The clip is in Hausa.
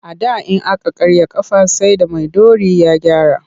A da in aka karya a ƙafa sai da maiɗori ya gyara.